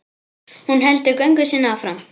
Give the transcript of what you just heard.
Hún heldur göngu sinni áfram.